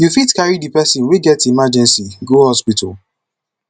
you fit carry di person wey get emergency go hospital